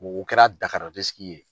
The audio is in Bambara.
U kɛra dahara disiki ye.